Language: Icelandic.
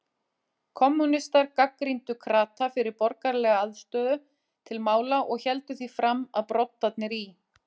Kommúnistar gagnrýndu krata fyrir borgaralega afstöðu til mála og héldu því fram, að broddarnir í